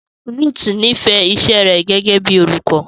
Ruth nífẹ̀ẹ́ iṣẹ́ rẹ̀ gẹ́gẹ́ bíi olùkọ́.